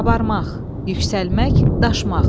Qabarmaq, yüksəlmək, daşmaq.